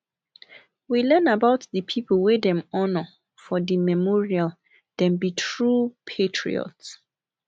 we learn about di pipo wey dem honor for di memorial dem be true patriots